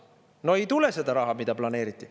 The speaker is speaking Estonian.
No ei tule seda raha, mida planeeriti.